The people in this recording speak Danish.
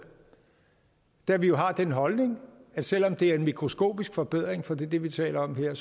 da vi jo har den holdning at selv om det er en mikroskopisk forbedring for det er det vi taler om her